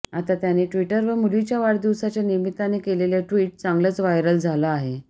आता त्याने ट्विटरवर मुलीच्या वाढदिवसाच्या निमित्ताने केलेलं ट्विट चांगलंच व्हायरल झालं आहे